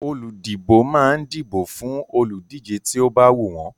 Olùdìbò máa ń dìbò fún olùdíje tí ó bá wù wọ́n.